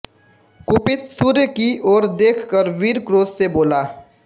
कुपित सूर्य की ओर देख वह वीर क्रोध से बोला